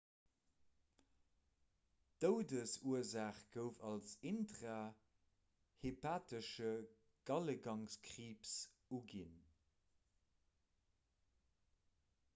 d'doudesursaach gouf als intrahepatesche galegangkriibs uginn